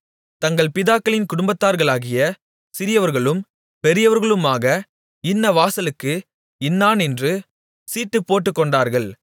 தங்கள் பிதாக்களின் குடும்பத்தார்களாகிய சிறியவர்களும் பெரியவர்களுமாக இன்ன வாசலுக்கு இன்னாரென்று சீட்டுப்போட்டுக்கொண்டார்கள்